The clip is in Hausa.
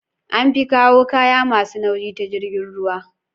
An fi kawo kayan masu nauyi ta jirgin ruwa